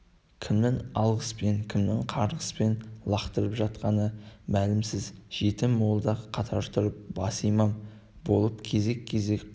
кімнің алғыспен кімнің қарғыспен лақтырып жатқаны мәлімсіз жеті молда қатар тұрып басы имам болып кезек-кезек құран